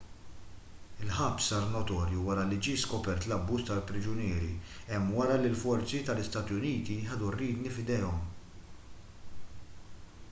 il-ħabs sar notorju wara li ġie skopert l-abbuż tal-priġunieri hemm wara li l-forzi ta-istati uniti ħadu r-riedni f'idejhom